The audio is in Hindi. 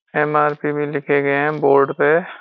एम.आर.पी. भी लिखे गए हैं बोर्ड पे।